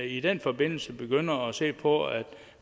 i den forbindelse begynder at se på at